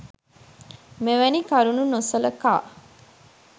මෙවැනි කරුණු නොසලකා